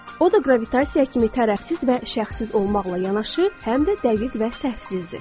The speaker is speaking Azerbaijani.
O da qravitasiya kimi tərəfsiz və şəxssiz olmaqla yanaşı, həm də dəqiq və səhvsizdir.